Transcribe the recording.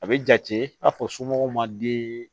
A bɛ jate i n'a fɔ somɔgɔw ma den